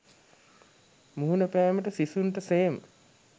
මුහුණපෑමට සිසුන්ට සේම